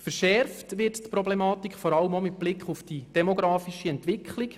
Verschärft wird die Problematik vor allem auch mit Blick auf die demografische Entwicklung.